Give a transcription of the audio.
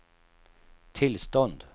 tillstånd